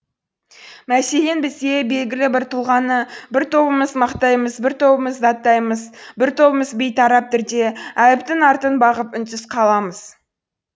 мәселен бізде белгілі бір тұлғаны бір тобымыз мақтаймыз бір тобымыз даттаймыз бір тобымыз бейтарап түрде әліптің артын бағып үнсіз қаламыз